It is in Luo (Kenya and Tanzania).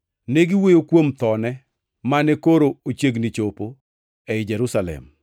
Negiwuoyo kuom thone, mane koro ochiegni chopo ei Jerusalem.